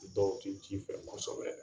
U dɔw tɛ ji fɛ kosɛbɛ.